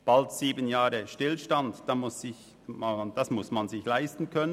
Bald sieben Jahre Stillstand muss man sich erstens leisten können.